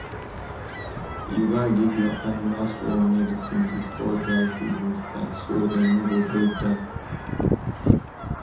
you gats give your animals worm medicine before dry season start so dem no go break down.